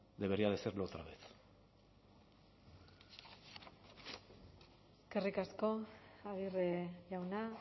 debería de serlo otra vez eskerrik asko aguirre jauna